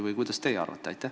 Või mida teie arvate?